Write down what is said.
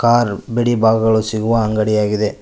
ಆರು ಬಿಡಿ ಬಗಗಳು ಸಿಗುವ ಅಂಗಡಿ ಆಗಿದೆ.